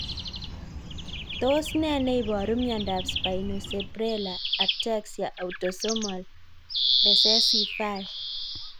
Tos ne neiparu miondop Spinocerebellar ataxia autosomal recessive 5?